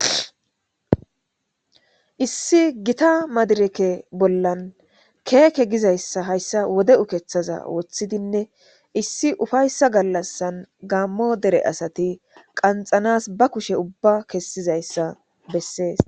Issi gitta madireke bolla keke gizayisa hayisa wode ukethaza wothidinee issi ufayisa galasa gamo dere asati qaxanas ba kushe ubay kesizayiaa beses